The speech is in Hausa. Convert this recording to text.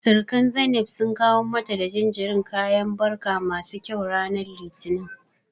Sirikan Zainab sun kawo mata da jinjirin kayan barka masu kyau ranar Litinin.